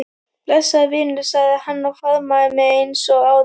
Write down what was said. Blessaður vinur sagði hann og faðmaði mig eins og áður.